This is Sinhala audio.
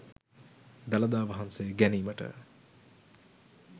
දළදා වහන්සේ ගැනීමට